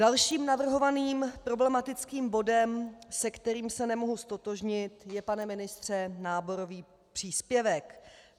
Dalším navrhovaným problematickým bodem, se kterým se nemohu ztotožnit, je, pane ministře, náborový příspěvek.